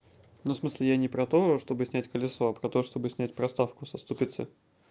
ну в смысле я не про то чтобы снять колесо а про то чтобы снять проставку со ступицы